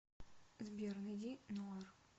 сбер найди ноар